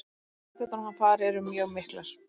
Líkurnar á að hann fari eru mjög miklar.